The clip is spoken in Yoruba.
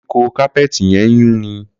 Koríko kápẹ́ẹ̀tì yẹn ń yúnni.